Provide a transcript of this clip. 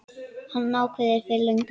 Það var ákveðið fyrir löngu.